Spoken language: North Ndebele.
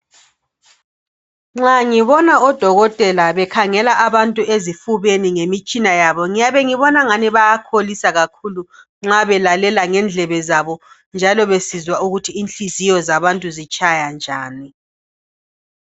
Nxa ngibona odokotela bekhangela abantu ezifubeni besebenzisa imitshina yabo ,ngyabe ngibonangani bayakholisa kakhulu nxa belalela ngendlebe zabo besizwa ukuthi inhliziyo zabantu zitshaya njani.